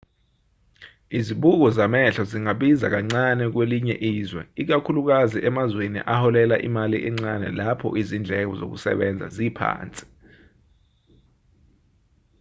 izibuko zamehlo zingabiza kancane kwelinye izwe ikakhulukazi emazweni aholela imali encane lapho izindleko zokusebenza ziphansi